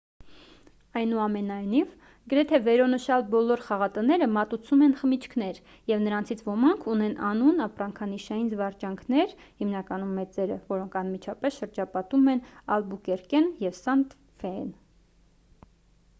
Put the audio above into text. այնուամենայնիվ գրեթե վերոնշյալ բոլոր խաղատները մատուցում են խմիչքներ և նրանցից ոմանք ունեն անուն ապրանքանշային զվարճանքներ հիմնականում մեծերը որոնք անմիջապես շրջապատում են ալբուկերկեն և սանտա ֆեն: